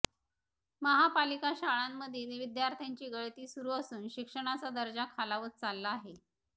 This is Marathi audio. महापालिका शाळांमधील विद्यार्थ्यांची गळती सुरू असून शिक्षणाचा दर्जा खालावत चालला आहे